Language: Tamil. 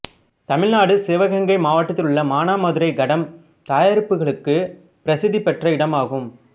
தமிழ் நாடு சிவகங்கை மாவட்டத்திலுள்ள மானாமதுரை கடம் தயாரிப்புகளுக்குப் பிரசித்தி பெற்ற இடமாகும்